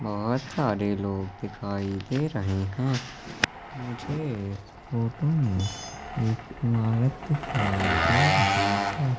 बहोत सारे लोग दिखाई दे रहे हैं मुझे फोटो में एक इमारत दिखाई दे रही है।